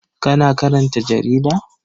Kana karanta jarida?